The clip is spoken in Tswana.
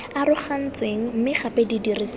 arogantsweng mme gape di dirisiwa